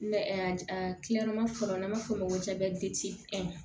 fɔlɔ n'an b'a f'o ma ko